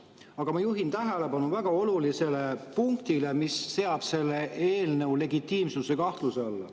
Aga ma juhin tähelepanu väga olulisele punktile, mis seab selle eelnõu legitiimsuse kahtluse alla.